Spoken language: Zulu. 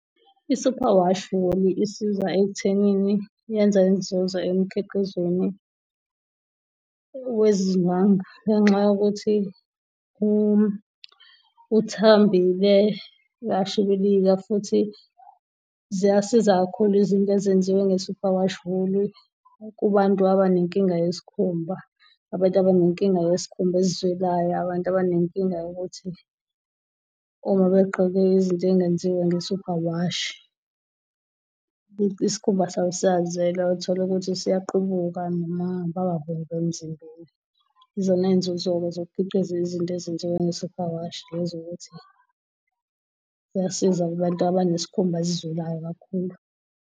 I-superwash wool isiza ekuthenini yenza inzuzo emkhiqizweni wezindwangu ngenxa yokuthi uthambile uyashibilika futhi ziyasiza kakhulu izinto ezenziwa nge-superwash wool-i kubantu abanenkinga yesikhumba, abantu abanenkinga yesikhumba esizwelayo, abantu abanenkinga yokuthi uma begqoke izinto ezingenziwa nge-superwash isikhumba sabo siyazwela uthole ukuthi siyaqubuka noma baba bomvu emzimbeni. Izona zinzuzo-ke zokukhiqiza izinto ezenziwe nge-superwash lezo ukuthi ziyasiza kubantu abanesikhumba esizwelayo kakhulu.